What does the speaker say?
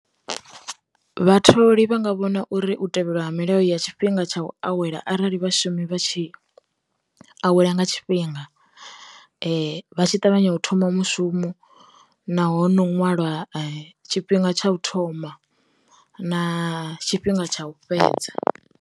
Vhatholi vhanga vhona uri u tevhelwa milayo ya tshifhinga tsha u awela arali vhashumi vha tshi awela nga tshifhinga, vha tshi ṱavhanya u thoma mushumo, naho ṅwalwa tshifhinga tsha u thoma na tshifhinga tsha u fhedza.